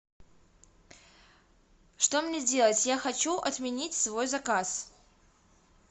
что мне делать я хочу отменить свой заказ